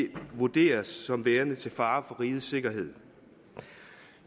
vurderes som værende til fare for rigets sikkerhed